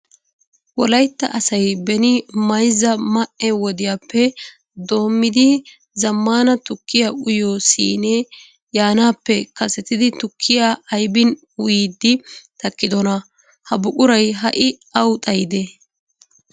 Wolaytta asay beni Mayzza ma"e wodiyappe doommidi zammaana tukkiya uyiyo siinee yaanaappe kasetidi tukkiya aybin uyiiddi takkidona? Ha buquray ha"i awu xayidee?